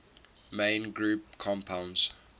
main group compounds